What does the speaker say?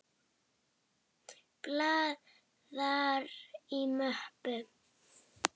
Blaðar í möppu.